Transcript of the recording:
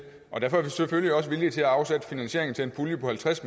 derfor er vi selvfølgelig også villige til at afsætte finansiering til en pulje på halvtreds